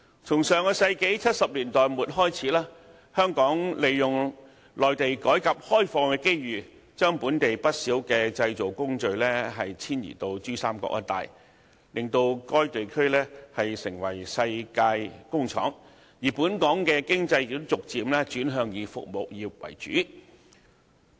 從上世紀70年代末開始，香港趁着內地改革開放的機遇，將本地不少製造工序遷移到珠三角一帶，令該地區成為世界工廠，而本港的經濟亦逐漸轉向以服務業為主。